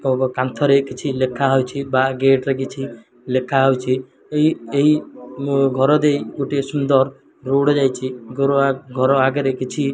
କାନ୍ଥରେ କିଛି ଲେଖା ହୋଇଛି ବା ଗେଟ ରେ କିଛି ଲେଖାହୋଇଛି। ଏହି ମୋ ଘର ଦେଇ ଗୋଟେ ସୁନ୍ଦର ରୋଡ଼ ଯାଇଛି। ଘର ଆ ଘର ଆଗରେ କିଛି --